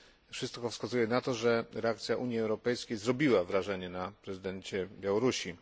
Wszystko wskazuje na to, że reakcja Unii Europejskiej zrobiła wrażenie na prezydencie Białorusi.